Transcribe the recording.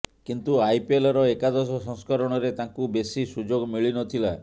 କିନ୍ତୁ ଆଇପିଏଲର ଏକାଦଶ ସଂସ୍କରଣରେ ତାଙ୍କୁ ବେଶୀ ସୁଯୋଗ ମିଳିନଥିଲା